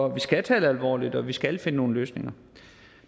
at vi skal tage det alvorligt og at vi skal finde nogle løsninger